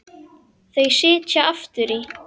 Þau sitja aftur í.